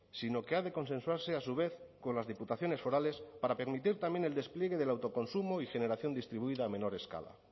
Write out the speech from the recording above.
sino que ha de consensuarse a su vez con las diputaciones forales para permitir también el despliegue del autoconsumo y generación distribuida a menor escala